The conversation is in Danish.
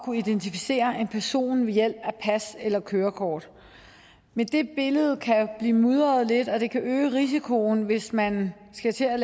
kunne identificere en person ved hjælp af pas eller kørekort men det billede kan blive mudret lidt og det kan øge risikoen hvis man skal til at